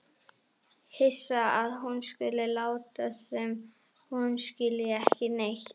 Hissa að hún skuli láta sem hún skilji ekki neitt.